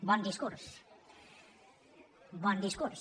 bon discurs bon discurs